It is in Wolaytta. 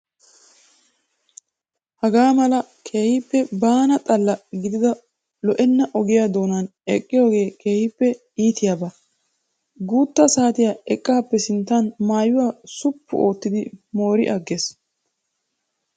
Haagaa mala keehippe baana xalla gidida lo'enna ogiyaa doonan eqqiyoogee keehippe iitiyaaba. Guutta saatiya eqqappe sinttan maayyuwaa suppu ottidi moori agges.